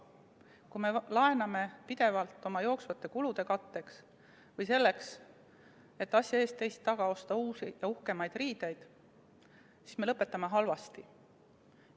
Kui me laename pidevalt oma jooksvate kulude katteks või selleks, et asja ees, teist taga osta uusi ja uhkemaid riideid, siis me lõpetame halvasti.